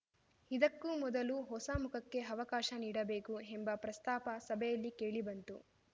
ಇದಕ್ಕೂ ಮೊದಲು ಹೊಸ ಮುಖಕ್ಕೆ ಅವಕಾಶ ನೀಡಬೇಕು ಎಂಬ ಪ್ರಸ್ತಾಪ ಸಭೆಯಲ್ಲಿ ಕೇಳಿಬಂತು